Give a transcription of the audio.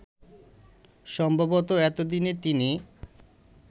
সম্ভবত এতদিনে তিনি